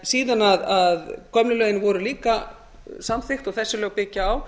þannig að síðan gömlu lögin voru líka samþykkt og þessi lög byggja á